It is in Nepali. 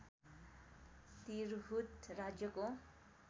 तिरहुत राज्यको